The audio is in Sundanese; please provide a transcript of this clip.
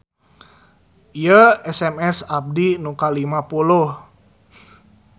Ieu SMS abdi nu kalima puluh